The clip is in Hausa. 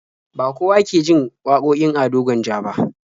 Ba kowa ke jin wakokin Ado Gwanja ba.